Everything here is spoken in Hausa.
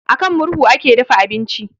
A kan murhu ake dafa abinci